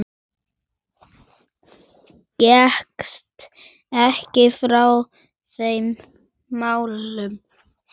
Gekkstu ekki frá þeim málum?